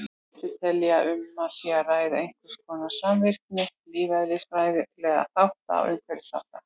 Flestir telja að um sé að ræða einhverskonar samvirkni lífeðlisfræðilegra þátta og umhverfisþátta.